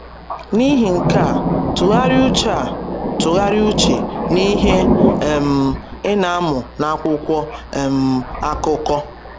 N’ihi nke a, tụgharịa uche a, tụgharịa uche n’ihe um ị na-amụ n’akwụkwọ um akụkọ.